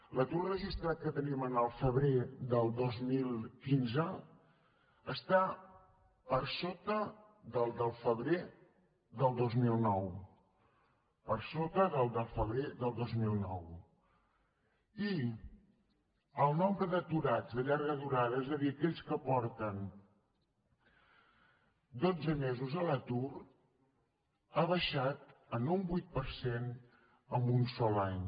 l’atur registrat que tenim al febrer del dos mil quinze està per sota del de febrer del dos mil nou per sota del de febrer del dos mil nou i el nombre d’aturats de llarga durada és a dir aquells que porten dotze mesos a l’atur ha baixat en un vuit per cent en un sol any